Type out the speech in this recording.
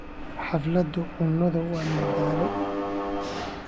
Xafladaha cunnada waa madadaalo.